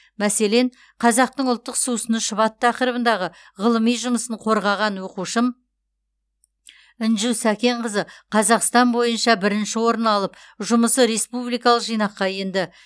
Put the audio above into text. мәселен қазақтың ұлттық сусыны шұбат тақырыбында ғылыми жұмысын қорғаған оқушым інжу сәкенқызы қазақстан бойынша бірінші орын алып жұмысы республикалық жинаққа енді